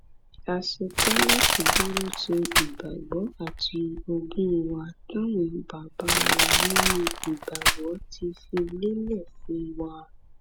a ṣetán láti dúró ti ìgbàgbọ àti ogún wa táwọn bàbá wa nínú ìgbàgbọ ti fi lélẹ fún wa